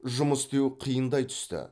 жұмыс істеу қиындай түсті